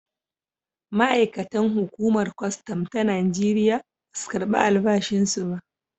Ma’aikatan hukumar kwastam ta Najeriya ba su karbi albashinsu ba.